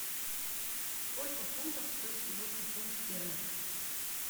сколько фунтов стоит сегодня фунт стерлинг